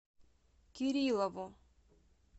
кириллову